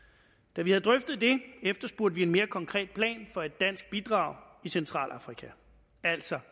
da vi havde drøftet det efterspurgte vi en mere konkret plan for et dansk bidrag i centralafrika altså